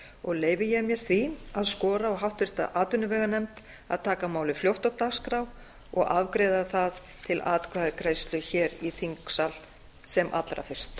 og leyfi ég mér því að skora á háttvirta atvinnuveganefnd að taka málið fljótt á dagskrá og afgreiða það til atkvæðagreiðslu hér í þingsal sem allra fyrst